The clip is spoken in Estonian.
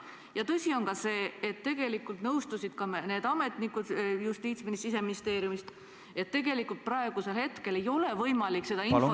Ja tõsi on seegi, et tegelikult nõustusid ka need ametnikud sealt Justiitsministeeriumist ja Siseministeeriumist, et praegu ei ole võimalik seda infot saada ...